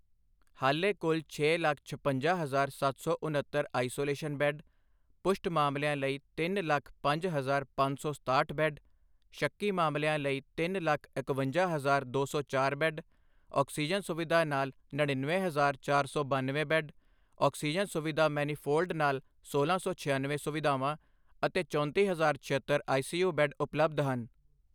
ਹਾਲੇ ਕੁੱਲ ਛੇ ਲੱਖ ਛਪੰਜਾ ਹਜਾਰ ਸੱਤ ਸੌ ਉਨੱਤਰ ਆਈਸੋਲੇਸ਼ਨ ਬੈੱਡ, ਪੁਸ਼ਟ ਮਾਮਲਿਆਂ ਲਈ ਤਿੰਨ ਲੱਖ ਪੰਜ ਹਜਾਰ ਪੰਜ ਸੌ ਸਤਾਹਠ ਬੈੱਡ, ਸ਼ੱਕੀ ਮਾਮਲਿਆਂ ਲਈ ਤਿੰਨ ਲੱਖ ਇਕਵੰਜਾ ਹਜਾਰ ਦੋ ਸੌ ਚਾਰ ਬੈੱਡ, ਆਕਸੀਜਨ ਸੁਵਿਧਾ ਨਾਲ ਨੜਿੱਨਵੇ ਹਜਾਰ ਚਾਰ ਸੌ ਬੱਨਵੇਂ ਬੈੱਡ, ਆਕਸੀਜਨ ਸੁਵਿਧਾ ਮੈਨੀਫ਼ੋਲਡ ਨਾਲ ਸੋਲਾਂ ਸੌ ਛਿਆਨਵੇਂ ਸੁਵਿਧਾਵਾਂ ਅਤੇ ਚੌਂਤੀ ਹਜਾਰ ਛਿਅੱਤਰ ਆਈਸੀਯੂ ਬੈੱਡ ਉਪਲਬਧ ਹਨ।